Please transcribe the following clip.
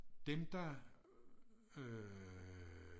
Dem der øh